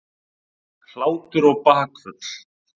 Hlátur og bakföll.